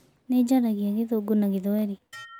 Nĩ njaragia gĩthũngũ na gĩthweri.